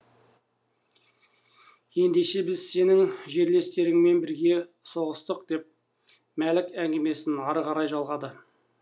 ендеше біз сенің жерлестеріңмен бірге соғыстық деп мәлік әңгімесін ары қарай жалғады